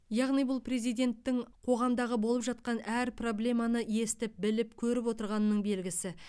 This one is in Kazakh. яғни бұл президенттің қоғамдағы болып жатқан әр проблеманы естіп біліп көріп отырғанының белгісі